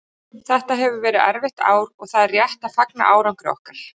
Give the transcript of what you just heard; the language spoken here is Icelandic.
Þetta hefur verið erfitt ár og það er rétt að fagna árangri okkar.